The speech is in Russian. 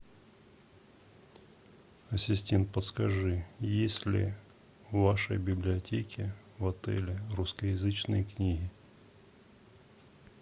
ассистент подскажи есть ли в вашей библиотеке в отеле рускоязычные книги